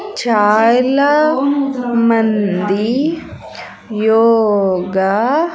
చాలా మంది యోగా .